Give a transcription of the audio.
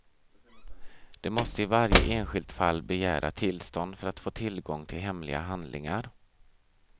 De måste i varje enskilt fall begära tillstånd för att få tillgång till hemliga handlingar.